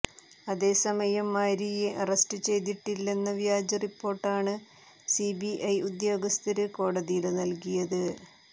അതേസമയം മാരിയെ അറസ്റ്റ് ചെയ്തിട്ടില്ലെന്ന വ്യാജ റിപ്പോര്ട്ടാണ് സി ബി ഐ ഉദ്യോഗസ്ഥര് കോടതിയില് നല്കിത്